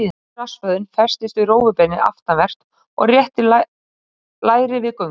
Stóri rassvöðvinn festist við rófubeinið aftanvert og réttir læri við göngu.